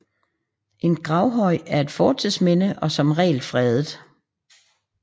En gravhøj er et fortidsminde og som regel fredet